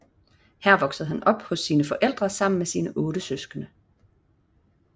Her voksede han op hos sine forældre sammen med sine otte søskende